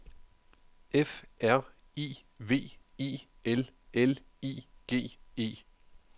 F R I V I L L I G E